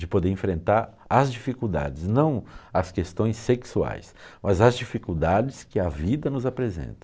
De poder enfrentar as dificuldades, não as questões sexuais, mas as dificuldades que a vida nos apresenta.